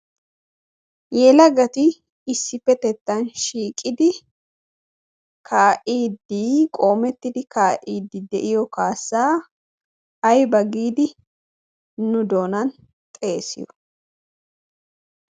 Yelagati issippetettan shiiqidi kaa'iiddi qoomettidi kaa'iiddi de'iyo kaassaa ayba giidi nu doonan xeesiyo?